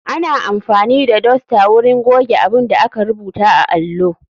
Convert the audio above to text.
Ana amfani da dosta wurin goge abunda aka rubuta a allo.